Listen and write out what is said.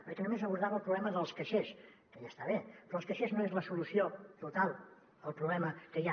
perquè només abordava el problema dels cai·xers que ja està bé però els caixers no són la solució total al problema que hi ha